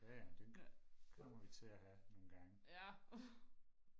jaja men den kommer vi til og have nogle gange